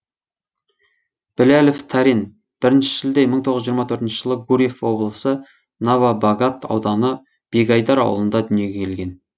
біләлов тәрен бірінші шілде мың тоғыз жүз жиырма төртінші жылы гурьев облысы новобогат ауданы бегайдар ауылында дүниеге келген